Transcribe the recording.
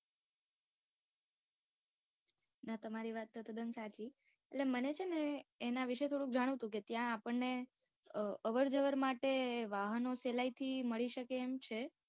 ના તમારી વાત તો તદ્દન સાચી. એટલે મને છે ને એના વિશે થોડુક જાણવું હતું, કે ત્યાં આપણ ને અવર જવર માટે વાહનો સહેલાઇ થી મળી શકે એમ છે.